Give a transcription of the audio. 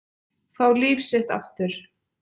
Fá líf sitt aftur.